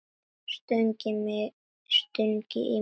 Stungið í mig?